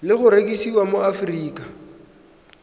le go rekisiwa mo aforika